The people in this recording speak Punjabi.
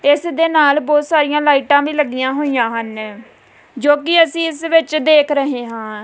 ਇਸ ਦੇ ਨਾਲ ਬਹੁਤ ਸਾਰੀਆਂ ਲਾਈਟਾਂ ਵੀ ਲੱਗੀਆਂ ਹੋਈਆਂ ਹਨ ਜੋ ਕਿ ਅਸੀਂ ਇਸ ਵਿੱਚ ਦੇਖ ਰਹੇ ਹਾਂ।